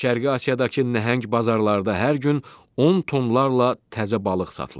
Şərqi Asiyadakı nəhəng bazarlarda hər gün 10 tonlarla təzə balıq satılır.